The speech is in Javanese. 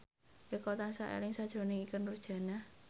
Eko tansah eling sakjroning Ikke Nurjanah